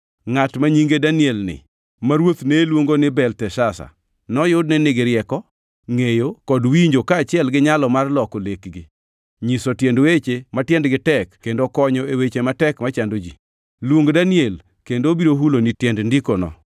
Ngʼat ma nyinge Daniel ni, ma ruoth ne luongo ni Belteshazar, noyud ni nigi rieko, ngʼeyo kod winjo, kaachiel gi nyalo mar loko lekgi, nyiso tiend weche ma tiendgi tek kendo konyo e weche matek machando ji. Luong Daniel, kendo obiro huloni tiend ndikono.